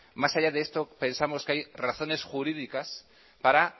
más allá de esto pensamos que hay razones jurídicas para